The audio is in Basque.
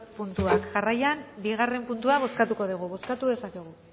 puntuak jarraian bigarren puntua bozkatuko dugu bozkatu dezakegu